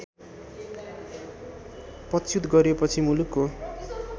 पदच्युत गरिएपछि मुलुकको